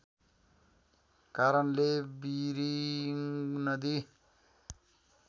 कारणले बिरिङ नदी